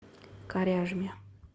коряжме